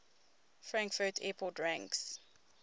frankfurt airport ranks